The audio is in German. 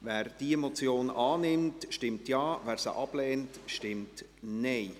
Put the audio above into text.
Wer diese Motion annimmt, stimmt Ja, wer diese ablehnt, stimmt Nein.